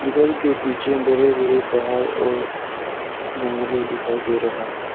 घर के पीछे बड़े बड़े पहाड़ और जंगली दिखाई दे रहा है।